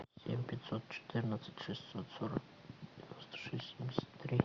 семь пятьсот четырнадцать шестьсот сорок девяносто шесть семьдесят три